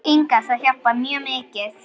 Inga Það hjálpar mjög mikið.